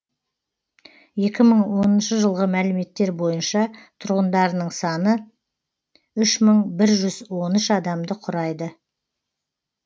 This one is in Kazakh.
екі мың оныншы жылғы мәліметтер бойынша тұрғындарының саны үш мың бір жүз он үш адамды құрайды